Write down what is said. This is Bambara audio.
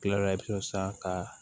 Kila la fo sisan ka